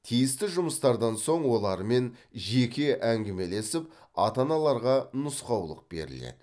тиісті жұмыстардан соң олармен жеке әңгімелесіп ата аналарға нұсқаулық беріледі